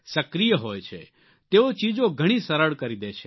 સક્રિય હોય છે તેઓ ચીજો ઘણી સરળ કરી દે છે